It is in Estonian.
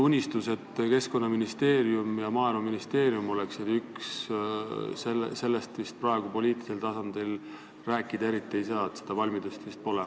Unistusest, et Keskkonnaministeerium ja Maaeluministeerium oleksid üks, praegu poliitilisel tasandil rääkida eriti ei saa, seda valmidust vist pole.